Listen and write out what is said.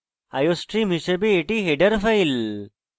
iostream হিসাবে এটি header file